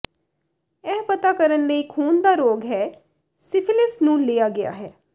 ਇਹ ਪਤਾ ਕਰਨ ਲਈ ਖੂਨ ਦਾ ਰੋਗ ਹੈ ਸਿਫਿਲਿਸ ਨੂੰ ਲਿਆ ਗਿਆ ਹੈ